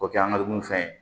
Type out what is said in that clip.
O kɛ an ga dumunifɛn ye